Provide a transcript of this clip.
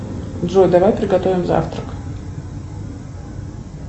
джой давай приготовим завтрак